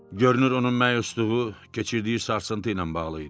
Görünür onun məyusluğu keçirdiyi sarsıntı ilə bağlı idi.